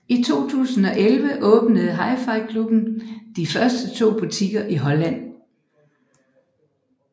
I 2011 åbnede HiFi Klubben de første to butikker i Holland